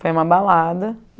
Foi uma balada.